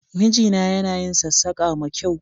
Mijina yana yin sassaƙa ma kyau